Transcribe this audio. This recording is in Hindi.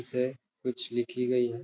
इससे कुछ लिखी गयी है।